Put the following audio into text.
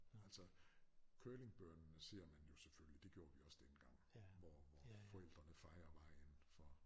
Altså curlingbørnene ser man jo selvfølgelig det gjorde vi også dengang hvor hvor forældrene fejer vejen for